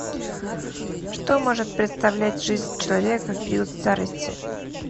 что может представлять жизнь человека в период старости